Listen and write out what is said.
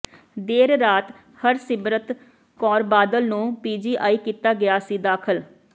ਦੇਰ ਰਾਤ ਹਰਸਿਮਰਤ ਕੌਰ ਬਾਦਲ ਨੂੰ ਪੀਜੀਆਈ ਕੀਤਾ ਗਿਆ ਸੀ ਦਾਖਲ